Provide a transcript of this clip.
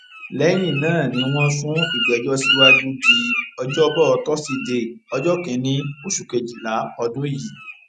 lẹyìn náà ni wọn sún ìgbẹjọ síwájú di ọjọbọ tọsídẹẹ ọjọ kìnínní oṣù kejìlá ọdún yìí